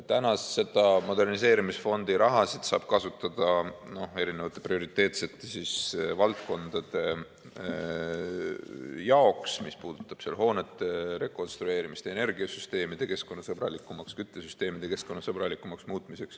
Täna saab moderniseerimisfondi raha kasutada prioriteetsete valdkondade jaoks, mis puudutab hoonete rekonstrueerimist, energiasüsteemide ja küttesüsteemide keskkonnasõbralikumaks muutmist.